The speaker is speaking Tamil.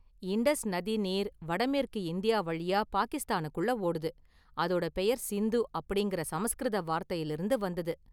இண்டஸ் நதி நீர் வடமேற்கு இந்தியா வழியா பாகிஸ்தானுக்குள்ள ஓடுது, அதோட பெயர் 'சிந்து' அப்படிங்கிற சமஸ்கிருத வார்த்தையிலிருந்து வந்தது.